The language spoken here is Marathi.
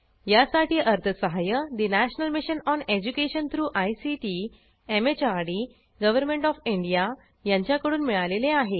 यासाठी अर्थसहाय्य national mission on education through ICT MHRD government of India यांच्याकडून मिळालेले आहे